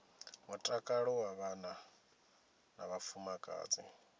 mutakalo wa vhana na vhafumakadzi